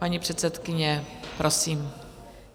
Paní předsedkyně, prosím.